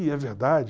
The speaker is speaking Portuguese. E é verdade.